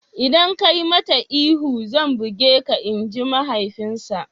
Idan ka yi mata ihu zan buge ka''! Inji mahaifinsa.